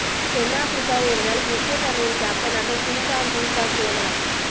தென்ஆப்பிரிக்கா ஒருநாள் கிரிக்கெட் அணியின் கேப்டனாக குயின்டான் டி காக் நியமனம்